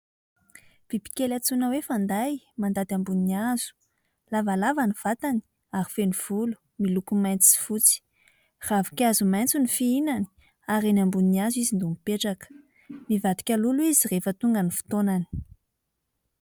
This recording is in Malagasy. Bibikely antsoina hoe :"fanday" mandady ambony hazo. Lavalava ny vatany ary feno volo miloko maitso sy fotsy. Ravinkazo maitso ny fihinany ary eny ambonin'ny hazo izy no mipetraka. Mivadika lolo izy rehefa tonga ny fotoanany.